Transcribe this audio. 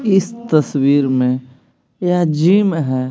इस तस्वीर में यह जीम हैं ।